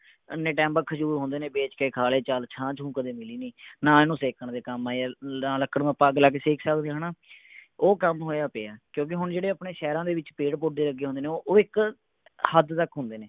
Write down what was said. ਐਨੇ time ਬਾਅਦ ਖਜ਼ੂਰ ਹੁੰਦੇ ਨੇ ਵੇਚ ਕੇ ਖਾ ਲੈ ਚਲ ਛਾਂ ਛੂੰ ਕਦੇ ਮਿਲੀ ਨਹੀਂ ਨਾ ਇਹਨੂੰ ਸੇਕਣ ਦੇ ਕੰਮ ਆਇਆ ਨਾ ਲੱਕੜ ਨੂੰ ਆਪਾਂ ਅੱਗ ਲਾ ਕੇ ਸੇਕ ਸਕਦੇ ਹਾਂ ਹੈ ਨਾ ਉਹ ਕੰਮ ਹੋਇਆ ਪਿਆ ਕਿਉਂਕਿ ਹੁਣ ਜਿਹੜੇ ਆਪਣੇ ਸ਼ਹਿਰਾਂ ਦੇ ਵਿੱਚ ਪੇੜ ਪੋਧੇ ਲੱਗੇ ਹੁੰਦੇ ਨੇ ਉਹ ਇੱਕ ਹੱਦ ਤੱਕ ਹੁੰਦੇ ਨੇ